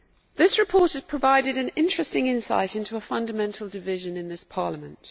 This report has provided an interesting insight into a fundamental division in this Parliament.